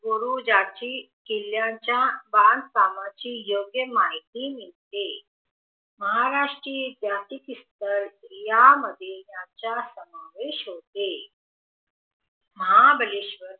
वरून ज्याची किल्ल्याच्या बांधकामाची योग्य माहिती मिळते महाराष्टीरीयन जातीक्स्थळ यामध्ये याचा समावेश होते महाबळेशवर